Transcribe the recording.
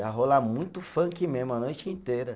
Ia rolar muito funk mesmo, a noite inteira.